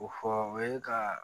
O fɔ o ye ka